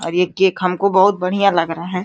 और ये केक हमको बहुत बढ़िया लग रहा है।